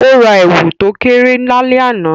O ra èwù to kéré lálẹ́ àná